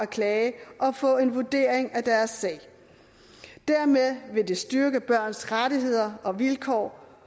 klage og få en vurdering af deres sag dermed vil det styrke børns rettigheder og vilkår